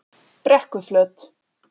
Brekkuflöt